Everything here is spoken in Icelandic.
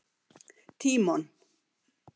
Tímon